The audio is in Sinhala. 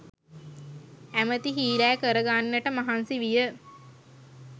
ඇමැති හීලෑ කරගන්නට මහන්සි විය